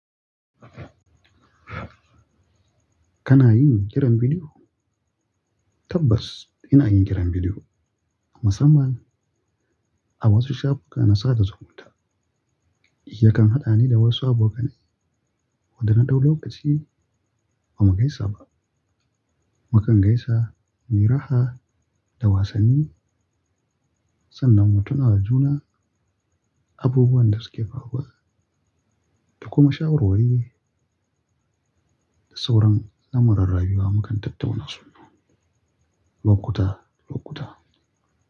Kana yin kiran bidiyo? Tabbas ina yin kiran bidiyo. Musamman a wasu shafuka na sata zumunta. Yakan haɗa ni da wasu abokanai waɗanda na ɗau lokaci ba mu gaisa ba. Mu kan gaisa, muyi raha da wasanni sannan mu tuna da juna abubuwan da suke faruwa da kuma shawarwari da sauran lamuran rayuwa mu kan tattauna su lokuta lokuta.